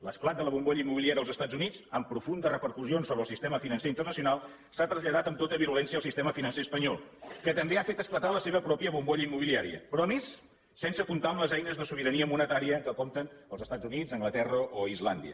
l’esclat de la bombolla immobiliària als estats units amb profundes repercussions sobre el sistema financer internacional s’ha traslladat amb tota virulència al sistema financer espanyol que també ha fet esclatar la seva pròpia bombolla immobiliària però a més sense comptar amb les eines de sobirania monetària amb què compten els estats units anglaterra o islàndia